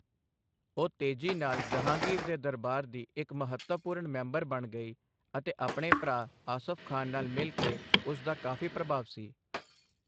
ਉਹ ਤੇਜ਼ੀ ਨਾਲ ਜਹਾਂਗੀਰ ਦੇ ਦਰਬਾਰ ਦੀ ਇੱਕ ਮਹੱਤਵਪੂਰਨ ਮੈਂਬਰ ਬਣ ਗਈ ਅਤੇ ਆਪਣੇ ਭਰਾ ਆਸਫ ਖਾਨ ਨਾਲ ਮਿਲ ਕੇ ਉਸ ਦਾ ਕਾਫ਼ੀ ਪ੍ਰਭਾਵ ਸੀ।